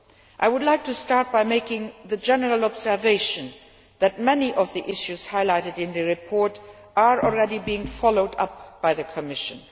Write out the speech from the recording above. I would like to start by making the general observation that many of the issues highlighted in the report are already being followed up by the Commission.